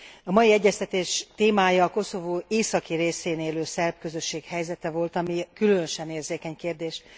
A mai egyeztetés témája a Koszovó északi részén élő szerb közösség helyzete volt, ami különösen érzékeny kérdés.